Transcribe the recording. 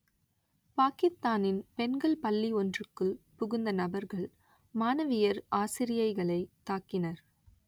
பாக்கித்தானின் பெண்கள் பள்ளி ஒன்றுக்குள் புகுந்த நபர்கள் மாணவியர் ஆசிரியைகளைத் தாக்கினர்